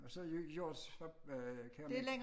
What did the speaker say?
Og så hjorts øh keramik